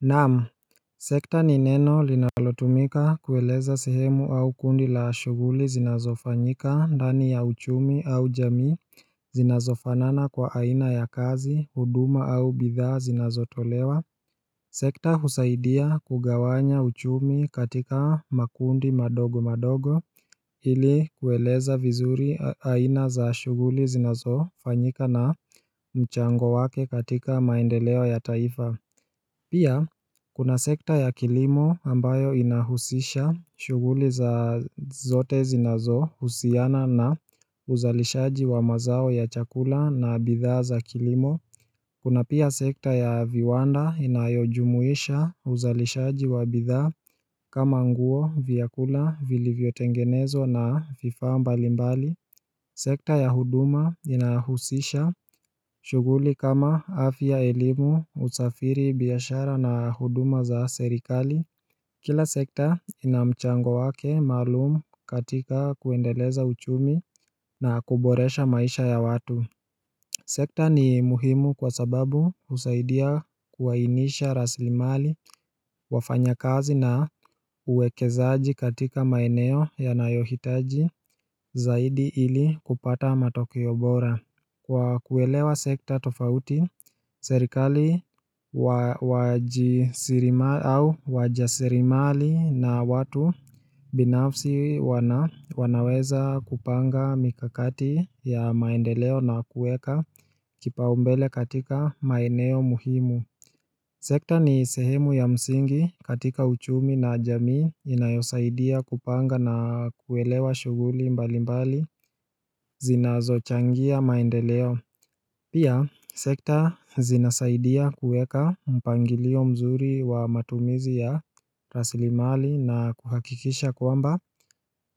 Naamu Sekta ni neno linalotumika kueleza sehemu au kundi la shughuli zinazofanyika ndani ya uchumi au jamii Zinazofanana kwa aina ya kazi, huduma au bidhaa zinazotolewa Sekta husaidia kugawanya uchumi katika makundi madogo madogo Hili kueleza vizuri aina za ashughuli zinazofanyika na mchango wake katika maendeleo ya taifa Pia Kuna sekta ya kilimo ambayo inahusisha shughuli za zote zinazo husiana na uzalishaji wa mazao ya chakula na bidhaa za kilimo Kuna pia sekta ya viwanda inayojumuisha uzalishaji wa bidhaa kama nguo vyakula vili vyotengenezwa na vifaa mbalimbali Sekta ya huduma inahusisha shughuli kama afya, elimu, usafiri, biashara na huduma za serikali Kila sekta inamchango wake maalumu katika kuendeleza uchumi na kuboresha maisha ya watu Sekta ni muhimu kwa sababu husaidia kuwainisha rasilimali wafanya kazi na uwekezaaji katika maeneo ya nayohitaji zaidi ili kupata matokeo bora Kwa kuelewa sekta tofauti, serikali wajasirimali na watu binafsi wanaweza kupanga mikakati ya maendeleo na kueka kipaumbele katika maeneo muhimu Sekta ni sehemu ya msingi katika uchumi na jamii inayosaidia kupanga na kuelewa shughuli mbali mbali zinazo changia maendeleo Pia, sekta zinasaidia kueka mpangilio mzuri wa matumizi ya rasilimali na kuhakikisha kwamba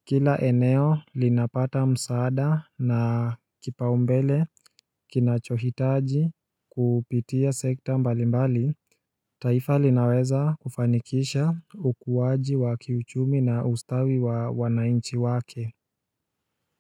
Kila eneo linapata msaada na kipaumbele kinachohitaji kupitia sekta mbalimbali taifa linaweza kufanikisha ukuaji wa kiuchumi na ustawi wa wananchi wake.